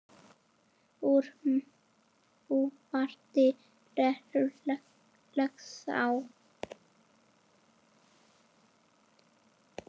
Úr Mývatni rennur Laxá.